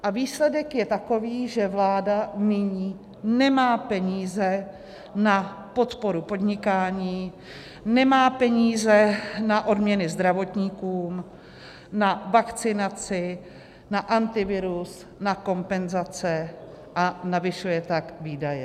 A výsledek je takový, že vláda nyní nemá peníze na podporu podnikání, nemá peníze na odměny zdravotníkům, na vakcinaci, na Antivirus, na kompenzace, a navyšuje tak výdaje.